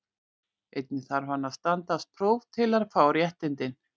Einnig þarf hann að standast próf til að fá réttindin.